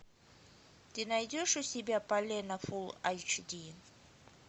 ты найдешь у себя полено фулл эйч ди